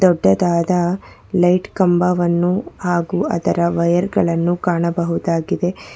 ದೊಡ್ಡದಾದ ಲೈಟ್ ಕಂಬವನ್ನು ಹಾಗು ಅದರ ವಯರ್ ಗಳನ್ನು ಕಾಣಬಹುದಾಗಿದೆ.